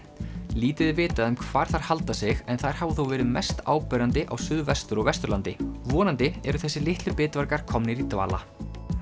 lítið er vitað um hvar þær halda sig en þær hafa þó verið mest áberandi á Suðvestur og Vesturlandi vonandi eru þessir litlu komnir í dvala